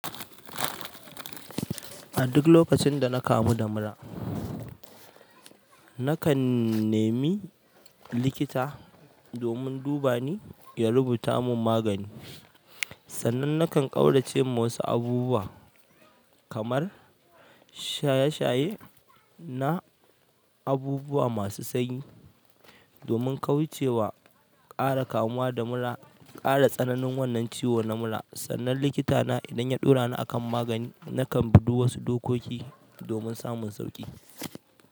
A duk lokacin da na kamu da mura, nakan nemi likita domin duba ni ya rubuta mun magani. Sannan nakan ƙaurace ma wasu abubuwa kamar shaye-shaye na abubuwa masu sanyi domin kauce wa ƙara kamuwa da mura. Ƙara tsananin wannan ciwon na mura. Sannan likita na idan ya ɗora ni akan magani, nakan bi duk wasu dokoki domin samun sauƙi.